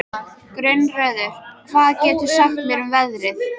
Gunnröður, hvað geturðu sagt mér um veðrið?